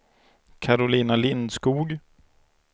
Karolina Lindskog